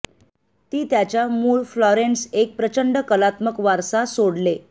ती त्याच्या मुळ फ्लॉरेन्स एक प्रचंड कलात्मक वारसा सोडले